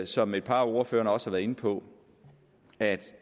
som et par af ordførerne også har været inde på at